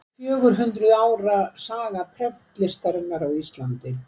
Fjögur hundruð ára saga prentlistarinnar á Íslandi.